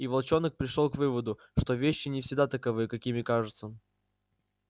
и волчонок пришёл к выводу что вещи не всегда таковы какими кажутся